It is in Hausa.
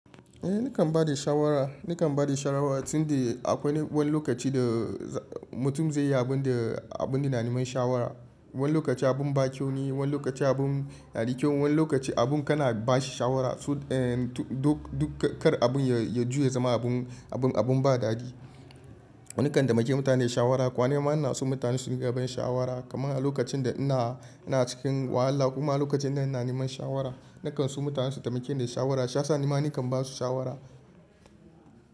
Eh nakan ba da shawara, nakan ba da shawara tunda akwai wani lokaci da mutum zai yi abun da abun ne na neman shawara. Wani lokaci abun ba kyau ne, wani lokaci abun yanada kyau, wani lokaci abun kana ba shi shawara duk kar abun ya juya zama abun ba daɗi. Na kan taimaki mutane da shawara kama nima inaso mutane sun dunga bani shawara. Kaman a lokacin da ina cikin wahala kuma lokacin da ina neman shawara, nakan so mutanen su taimake ni da shawara shiyasa nima nakan ba su shawara.